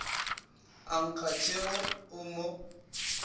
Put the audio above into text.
a nkga tšhego o mo